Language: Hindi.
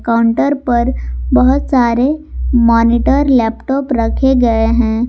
काउंटर पर बहुत सारे मॉनिटर लैपटॉप रखे गए हैं।